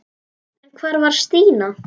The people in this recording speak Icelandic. En hvar var Stína?